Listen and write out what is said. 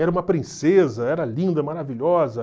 Era uma princesa, era linda, maravilhosa.